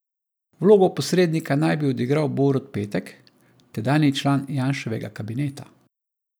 Vlogo posrednika naj bi odigral Borut Petek, tedanji član Janševega kabineta.